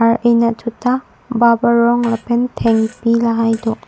ar eh natthu ta bap arong lapen thengpi lahai do.